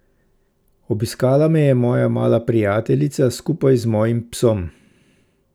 Obiskala me je moja mala prijateljica skupaj z mojim psom.